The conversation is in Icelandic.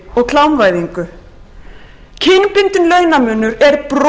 klámvæðingu kynbundinn launamunur er brot á